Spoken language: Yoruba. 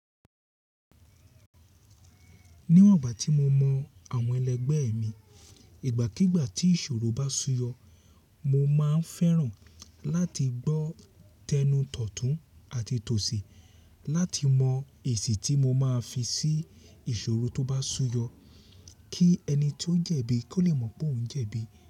Níwọ̀n ìgbà tí mo mọ àwọn ẹlẹgbẹ́ mi, ìgbàkígbà tí ìṣòro bá súyọ, mo máa ń fẹ́ràn láti gbọ́ tẹnu tọ̀tún àti tòsì láti mọ èsì tí mo máa fi sí ìṣòro tó bá súyọ, kí ẹni tí ó ń jẹ̀bi kó lè mọ̀ pé òun ń jẹ̀bi.